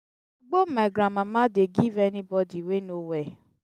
gbo my grandmama dey give anybodi we no well.